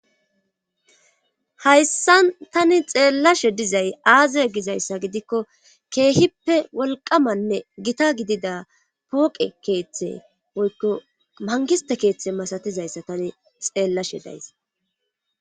hayssan tani xeellashe dizay aazie gizayssa gidikko keehippe wolqamanne gita gidida pooqe keeththe woykko mangiste keeththe masatizayssa tani xeellashe days